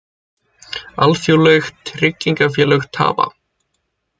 Alþjóðleg tryggingafélög tapa